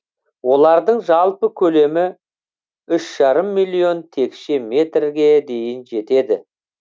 олардың жалпы көлемі үш жарым миллион текше метрге дейін жетеді